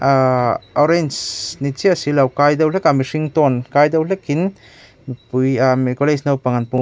ahh orange ni chiah si lo kai deuh hlekah mihring tone ka deuh hlekin mipui ahh college naupang an pung--